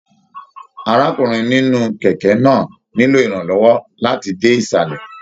Arákùnrin nínú kẹkẹ náà nilo iranlọwọ láti dé isalẹ.